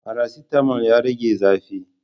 Faracetamol ya rage zafi